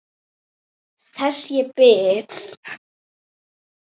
Þess ég bið.